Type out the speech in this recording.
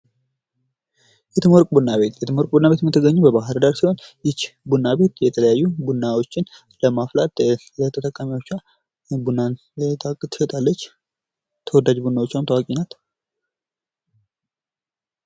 የትምወርቅ ቡና ቤት ቡና ቤት የምትገኘው በባህር ዳር ሲሆን ይህች ቡና ቤት የተለያዩ ቡናዎችን በማፍላት ለተጣሚዎቿ ቡናን ትሸጣለች። በተወዳጅ ቡናዎቹአም ታዋቂናት።